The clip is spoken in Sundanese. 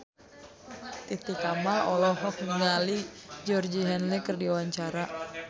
Titi Kamal olohok ningali Georgie Henley keur diwawancara